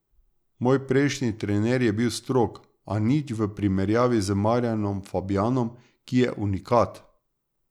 Moj prejšnji trener je bil strog, a nič v primerjavi z Marjanom Fabjanom, ki je unikat!